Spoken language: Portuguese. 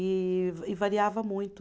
E va e variava muito.